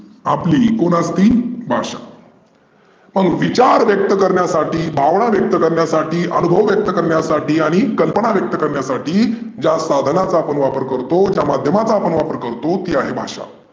आपली कोण असती भाषा मग विचार व्यक्त करण्यासाठी, भावना व्यक्त करण्यासाठी आणूभव व्यक्त करण्यासाठी आणि कल्पना व्यक्त करण्यासाठी ज्या साधनाचा आपन वापर करतो ज्या माध्यमाचा आपण वापर करतो ती आहे भाषा.